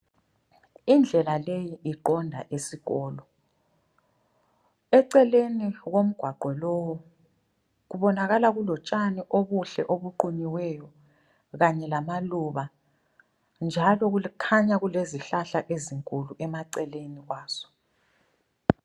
Indlela leyi iqonda esikolo. Eceleni komgwaqo lo kubonakala kulotshani obuhle ubuqunyiweyo kanye lamaluba njalo kukhanya kulezihlahla ezinkulu emaceleni kwaso.